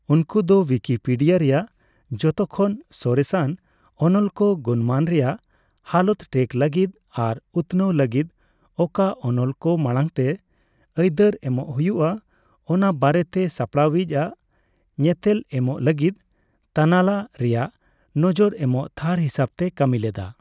ᱩᱱᱠᱩ ᱫᱚ ᱩᱭᱠᱤᱯᱤᱰᱤᱭᱟ ᱨᱮᱭᱟᱜ ᱡᱚᱛᱚᱠᱷᱚᱱ ᱥᱚᱨᱮᱥᱟᱱ ᱚᱱᱚᱞ ᱠᱚ ᱜᱩᱱᱢᱟᱱ ᱨᱮᱭᱟᱜ ᱦᱟᱞᱚᱛ ᱴᱨᱮᱠ ᱞᱟᱹᱜᱤᱫ ᱟᱨ ᱩᱛᱱᱟᱹᱣ ᱞᱟᱹᱜᱤᱫ ᱚᱠᱟ ᱚᱱᱚᱞ ᱠᱚ ᱢᱟᱲᱟᱝᱛᱮ ᱟᱹᱭᱫᱟᱹᱨ ᱮᱢᱚᱜ ᱦᱩᱭᱩᱜᱼᱟ ᱚᱱᱟ ᱵᱟᱨᱮᱛᱮ ᱥᱟᱥᱟᱯᱲᱟᱣᱤᱪ ᱟᱜ ᱧᱮᱛᱮᱞ ᱮᱢᱚᱜ ᱞᱟᱹᱜᱤᱫ ᱛᱟᱱᱟᱞᱟ ᱨᱮᱭᱟᱜ ᱱᱚᱡᱚᱨ ᱮᱢᱚᱜ ᱛᱷᱟᱨ ᱦᱤᱥᱟᱹᱵᱛᱮ ᱠᱟᱹᱢᱤ ᱞᱮᱫᱟ ᱾